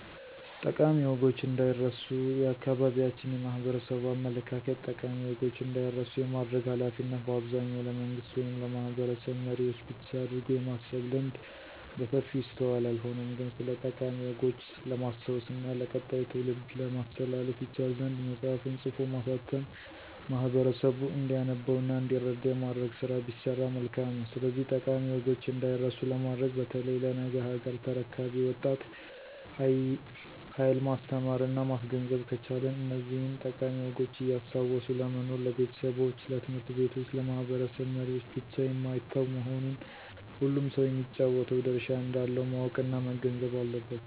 ጠቃሚ ወጎች እንዳይረስ የአካባቢያችን የማህበረሰቡ አመለካከት ጠቃሚ ወጎች እንዳይረሱ የማድረግ ሀላፊነት በአብዛኛው ለመንግስት ወይም ለማህበረሰብ መሪዎች ብቻ አድርጎ የማሰብ ልምድ በሰፊው ይስተዋላል። ሆኖም ግን ስለጠቃሚ ወጎች ለማስታወስ እና ለቀጣዩ ትውልድ ለማስተላለፍ ይቻል ዘንድ መፅሐፍን ፅፎ ማሳተም ማህበረሰቡ እንዲያነበው እና እንዲረዳ የማድረግ ስራ ቢሰራ መልካም ነው። ስለዚህ ጠቃሚ ወጎች እዳይረሱ ለማድረግ በተለይ ለነገ ሀገር ተረካቢው ወጣት ሀየል ማስተማረና ማስገንዘብ ከቻልን እነዚህን ጠቃሚ ወጎች እያስታወሱ ለመኖር ለቤተሰቦች፣ ለት/ቤቶች፣ ለማህበረሰብ መሪወች ብቻ የማይተው መሆኑን ሁሉም ሰው የሚጫወተው ድርሻ እንዳለው ማወቅና መገንዘብ አለበት።